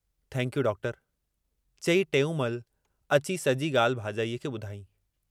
thanks you doctor चई टेऊंमल अची सजी गाल्हि भाजाईअ खे